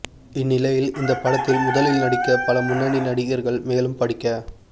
இந்நிலையில் இந்த படத்தில் முதலில் நடிக்க பல முன்னணி நடிகர்கள் மேலும் படிக்க